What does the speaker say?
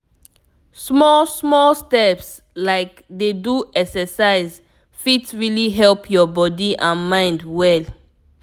small small steps like dey do exercise fit really help your body and mind well.